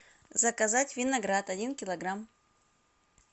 заказать виноград один килограмм